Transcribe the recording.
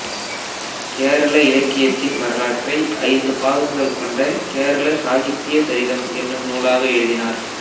கேரள இலக்கியத்தின் வரலாற்றை ஐந்து பாகங்கள் கொண்ட கேரள சாகித்திய சரிதம் என்னும் நூலாக எழுதினார்